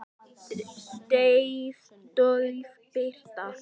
Dauf birta.